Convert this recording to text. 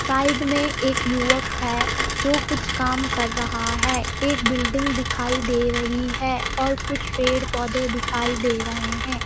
Side में एक युवक है जो कुछ काम कर रहा है एक बिल्डिंग दिखाई दे रही है और कुछ पेड़-पौधे दिखाई दे रहे हैं।